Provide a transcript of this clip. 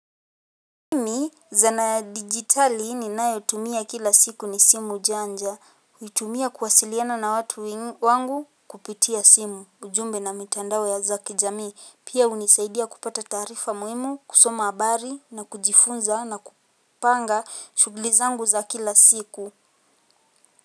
Mimi, zana ya digitali ninayotumia kila siku ni simu janja. Huitumia kuwasiliana na watu wangu kupitia simu. Ujumbe na mitandao ya kijamii. Pia hunisaidia kupata taarifa muhimu, kusoma habari na kujifunza na kupanga shughuli zangu za kila siku.